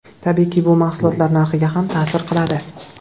Tabiiyki, bu mahsulotlar narxiga ham ta’sir qiladi.